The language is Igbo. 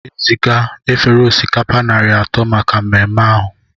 Aga m eziga efere osikapa narị atọ maka mmemme ahụ